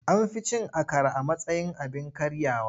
An fi cin akara a matsayin abin karyawa.